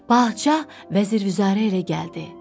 Padşah vəzir-vüzəra ilə gəldi.